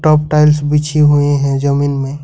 अब टाइल्स बिछी हुई है जमीन में।